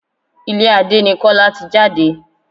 Ilé Adé ni Kọ́lá ti jáde.